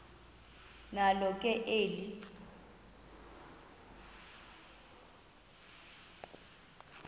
nalo ke eli